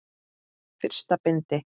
Fyrsta bindi.